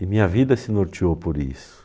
E minha vida se norteou por isso.